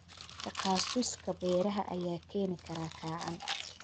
Takhasuska beeraha ayaa keeni kara kacaan.